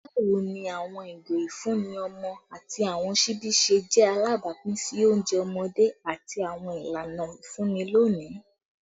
Bawo ni awọn igo ifunni ọmọ ati awọn ṣibi ṣe alabapin si ounjẹ ọmọde ati awọn ilana ifunni loni?